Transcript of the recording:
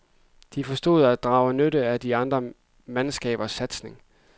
De forstod at drage nytte af de andre mandskabers satsning.